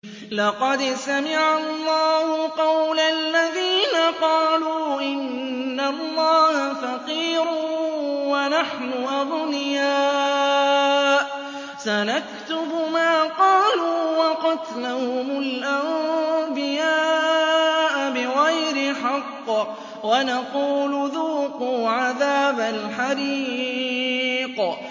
لَّقَدْ سَمِعَ اللَّهُ قَوْلَ الَّذِينَ قَالُوا إِنَّ اللَّهَ فَقِيرٌ وَنَحْنُ أَغْنِيَاءُ ۘ سَنَكْتُبُ مَا قَالُوا وَقَتْلَهُمُ الْأَنبِيَاءَ بِغَيْرِ حَقٍّ وَنَقُولُ ذُوقُوا عَذَابَ الْحَرِيقِ